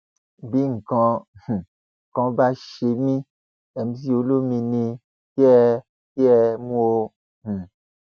bí nǹkan um kan bá ṣe mí mc olomini ni kẹ ẹ kẹ ẹ mú o um